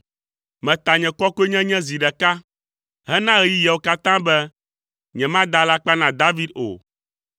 Meta nye kɔkɔenyenye zi ɖeka hena ɣeyiɣiwo katã be, nyemada alakpa na David o.